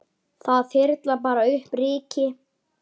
Það þyrlar bara upp ryki.